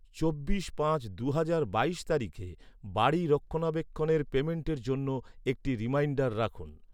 চব্বিশ পাঁচ দু'হাজার বাইশ তারিখে বাড়ি রক্ষণাবেক্ষণের পেমেন্টের জন্য একটি রিমাইন্ডার রাখুন।